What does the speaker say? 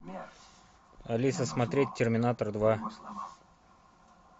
алиса смотреть терминатор два